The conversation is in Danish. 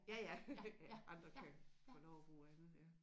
Ja ja andre kan få lov at bruge andet